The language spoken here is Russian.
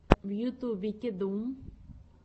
в ютубе кеду